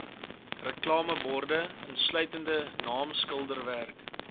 reklameborde insluitende naamskilderwerk